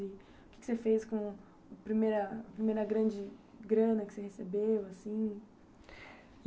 O que você fez com a primeira primeira grande grana que você recebeu assim?